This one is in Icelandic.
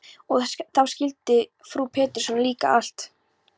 Og þá skildi frú Pettersson líka allt.